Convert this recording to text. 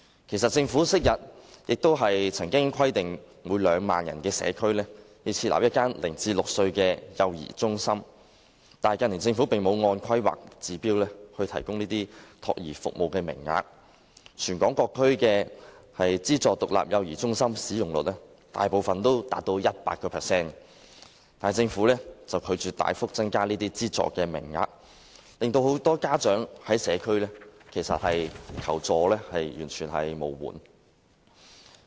其實，政府昔日亦曾規定每個2萬人的社區，設立一間0歲至6歲的幼兒中心，但近年政府並無按《規劃標準》提供託兒服務，全港各區的資助獨立幼兒中心使用率，大部分達到 100%， 但政府拒絕大幅增加資助名額，令社區中很多家長完全求助無門。